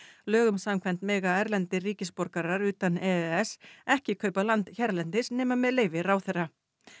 lögum samkvæmt mega erlendir ríkisborgarar utan e e s ekki kaupa land hérlendis nema með leyfi ráðherra